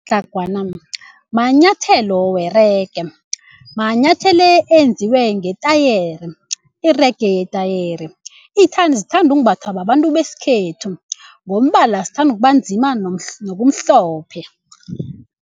manyathelo werege manyathelo enziwe ngetayere irege ngetayere zithandwa umbathwa babantu besikhethu ngombala zithandwa kubanzima nokumhlophe.